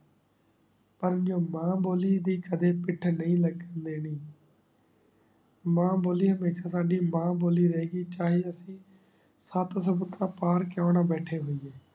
ਪਰ ਨੀ ਨ੍ਯੂ ਮਾਂ ਬੋਲੀ ਏਡੇ ਕਦੀ ਪਿਟ ਨਾਈ ਲਗਨ ਡੇਨਿ ਮਾਂ ਬੋਲੀ ਹਮ੍ਯ੍ਸ਼ਾ ਸਾਡੀ ਮਾਂ ਬੋਲੀ ਰੇ ਗੀ ਚਾਹੇ ਰੱਤੀ ਸਤ ਸੋ ਵਾਕਰ ਪਾਨ ਕ੍ਯੂਂ ਨਾ ਬੈਠੀ ਹੋਈਏ